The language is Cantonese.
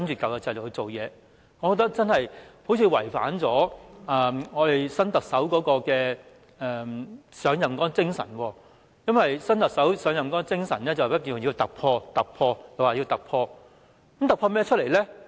我認為這樣真的好像違反新特首上任的精神。因為新特首上任的精神是突破、突破，她說要突破。